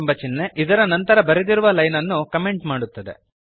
ಎಂಬ ಚಿಹ್ನೆ ಇದರ ನಂತರ ಬರೆದಿರುವ ಲೈನ್ ಅನ್ನು ಕಮೆಂಟ್ ಮಾಡುತ್ತದೆ